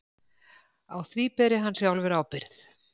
Á því beri hann sjálfur ábyrgð